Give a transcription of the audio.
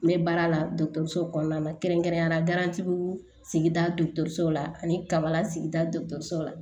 N bɛ baara la so kɔnɔna na kɛrɛnkɛrɛnnenya la garantiw sigida dɔgɔtɔrɔso la ani kaba sigida dɔ la